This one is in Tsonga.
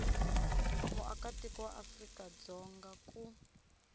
muakatiko wa afrika dzonga ku